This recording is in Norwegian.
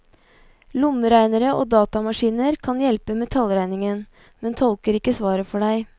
Lommeregnere og datamaskiner kan hjelpe med tallregningen, men tolker ikke svaret for deg.